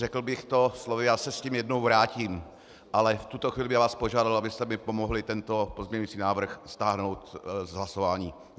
Řekl bych to slovy - já se s tím jednou vrátím, ale v tuto chvíli bych vás požádal, abyste mi pomohli tento pozměňovací návrh stáhnout z hlasování.